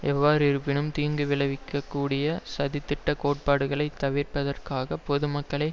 எவ்வாறிருப்பினும் தீங்கு விளைவிக்க கூடிய சதித்திட்ட கோட்பாடுகளைத் தவிர்ப்பதற்காக பொதுக்கருத்துக்களை